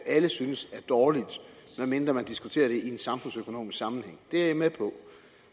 alle synes er dårligt medmindre man diskuterer det i en samfundsøkonomisk sammenhæng det er jeg med på